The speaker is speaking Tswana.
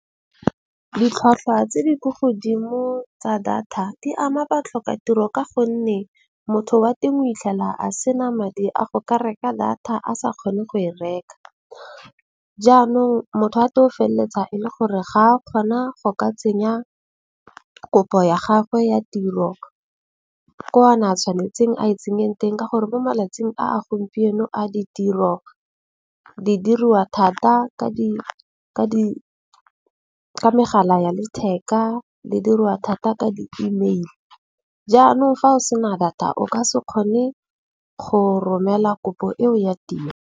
Ditlhwatlhwa tse di ko godimo tsa data di ama ba tlhoka tiro, ka gonne motho wa teng o itlhela a sena madi a go ka reka data a sa kgone go e reka. Jaanong motho wa teng o feleletsa e le gore ga a kgona go ka tsenya kopo ya gagwe ya tiro ko a na a tshwanetseng a e tsenyang teng. Ka gore mo malatsing a gompieno a ditiro di diriwa thata ka di ka megala ya letheka le dirwa thata ka di-email. Jaanong fa o sena data o ka se kgone go romela kopo eo ya tiro.